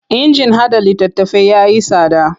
Injin haɗa littattafai ya yi tsada.